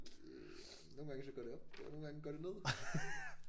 Det nogle gange så går det op og nogle gange går det ned